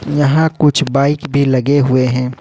यहां कुछ बाइक भी लगे हुए है।